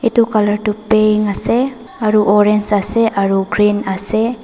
etu colour tu paying ase aru orange ase aru green ase.